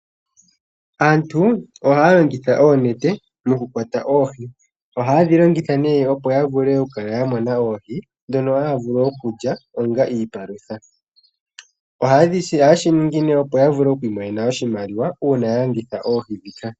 Aantu ohaya longitha oonete mokukwata oohi. Ohaye dhi longitha opo ya vule okukala ya mona oohi ndhono haya vulu okulya onga iipalutha. Ohaye shi ningi opo ya vule okumona iimaliwa uuna ya landitha oohi ndhika.